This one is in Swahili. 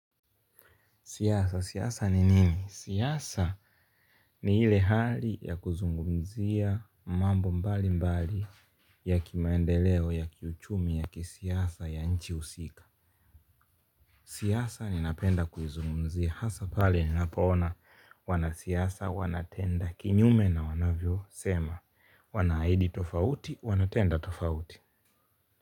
Siasa, siasa ni nini? Siasa ni ile hali ya kuzungumzia mambo mbalimbali ya kimaendeleo, ya kiuchumi, ya kisiasa ya nchi husika. Siasa ninapenda kuzungumzia hasa pale ninapoona wanasiasa wanatenda kinyume na wanavyosema. Wanahidi tofauti, wanatenda tofauti.